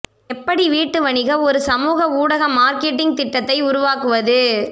எப்படி வீட்டு வணிக ஒரு சமூக ஊடக மார்க்கெட்டிங் திட்டத்தை உருவாக்குவது